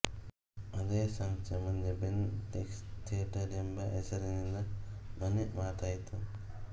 ಅದೇ ಸಂಸ್ಥೆ ಮುಂದೆ ಬೆನ್ ಕಿಂಗ್ಸ್ಲಿ ಥಿಯೇಟರ್ ಎಂಬಹೆಸರಿನಿಂದ ಮನೆಮಾತಾಯಿತು